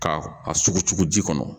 Ka a sogo cugu ji kɔnɔ